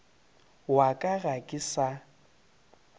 wa ka ga ke sa